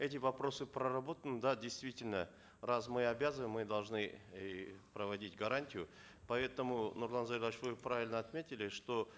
эти вопросы проработаны да действительно раз мы обязываем мы должны и проводить гарантию поэтому нурлан зайроллаевич вы правильно отметили что